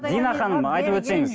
дина ханым айтып өтсеңіз